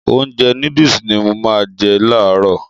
Ounjẹ nóódùsì ni mo má n je làárọ̀